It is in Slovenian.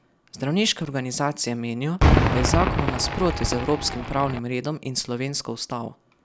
Zdravniške organizacije menijo, da je zakon v nasprotju z evropskim pravnim redom in s slovensko ustavo.